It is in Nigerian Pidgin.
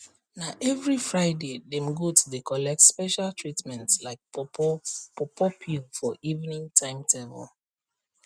na every fridaydem goat dey collect special treatment like pawpaw pawpaw peel for evening timetable